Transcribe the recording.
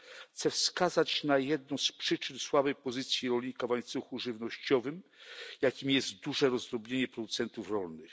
Chcę wskazać na jedną z przyczyn słabej pozycji rolnika w łańcuchu żywnościowym, jaką jest duże rozdrobnienie producentów rolnych.